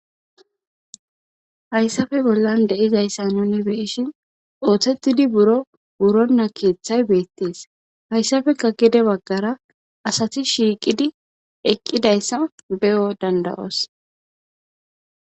Haysappe bollan dizaysa nuni beyishi oothetidi buro wurona keethay beetees. Haysappe gede baggara asati shiiqidi eqqidaysa beyo danda'oos.